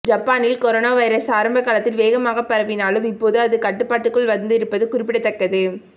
ஜப்பானில் corona virus ஆரம்பகாலத்தில் வேகமாக பரவினாலும் இப்போது அது கட்டுக்குள் வந்திருப்பது குறிப்பிடத்தக்கது